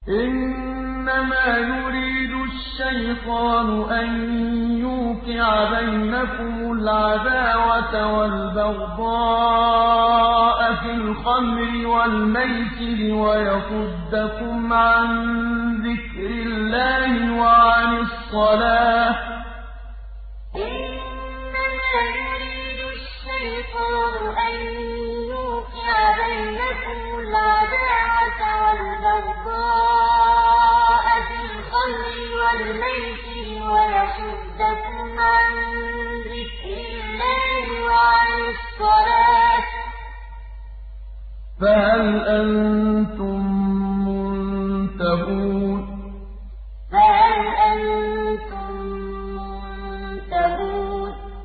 إِنَّمَا يُرِيدُ الشَّيْطَانُ أَن يُوقِعَ بَيْنَكُمُ الْعَدَاوَةَ وَالْبَغْضَاءَ فِي الْخَمْرِ وَالْمَيْسِرِ وَيَصُدَّكُمْ عَن ذِكْرِ اللَّهِ وَعَنِ الصَّلَاةِ ۖ فَهَلْ أَنتُم مُّنتَهُونَ إِنَّمَا يُرِيدُ الشَّيْطَانُ أَن يُوقِعَ بَيْنَكُمُ الْعَدَاوَةَ وَالْبَغْضَاءَ فِي الْخَمْرِ وَالْمَيْسِرِ وَيَصُدَّكُمْ عَن ذِكْرِ اللَّهِ وَعَنِ الصَّلَاةِ ۖ فَهَلْ أَنتُم مُّنتَهُونَ